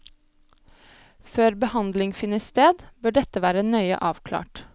Før behandling finner sted, bør dette være nøye avklart.